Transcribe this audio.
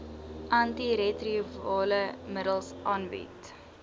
antiretrovirale middels aangebied